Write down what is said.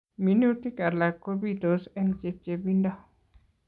Minutik alak kopitos eng' chepchepindo